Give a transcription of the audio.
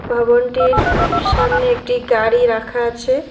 ভবনটির সামনে একটি গাড়ি রাখা আছে।